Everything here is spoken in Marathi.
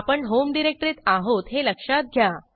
आपण होम डिरेक्टरीत आहोत हे लक्षात घ्या